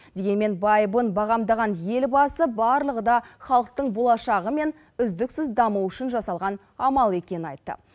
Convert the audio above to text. дегенмен байыбын бағамдаған елбасы барлығы да халықтың болашағы мен үздіксіз дамуы үшін жасалған амал екенін айтты